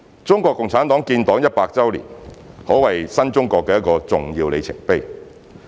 中國共產黨建黨一百年，可謂新中國的一個重要里程碑。